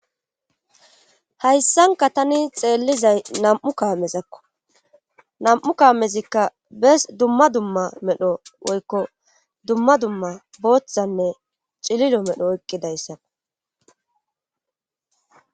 Hayssanka tani xeellizay nam'u kaamezakko nam'u kaamezikka bes dumma dumma medho woykko dumma dumma booththanne cililo medho eqqidayssao.